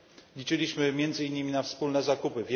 Liczyliśmy między innymi na wspólne zakupy.